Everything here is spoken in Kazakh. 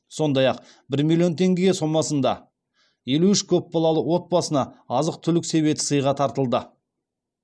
сондай ақ бір миллион теңге сомасында елу үш көп балалы отбасына азық түлік себеті сыйға тартылды